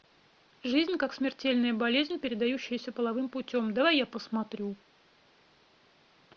жизнь как смертельная болезнь передающаяся половым путем давай я посмотрю